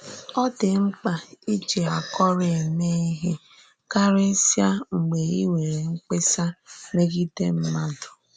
Ọ dị́ m̀kpà íjì àkòrò èmè íhè kàríísíà mgbe í nwèrè mkpèsà mègìdè mmádụ.